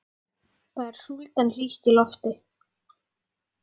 Það er súld en hlýtt í lofti.